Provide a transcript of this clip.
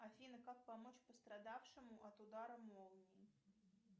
афина как помочь пострадавшему от удара молнией